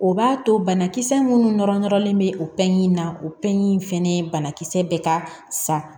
O b'a to banakisɛ minnu nɔrɔ nɔrɔlen bɛ o na o ɲi fɛnɛ bana kisɛ bɛ ka sa